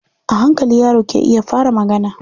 A hankali yaro ke iya fara magana.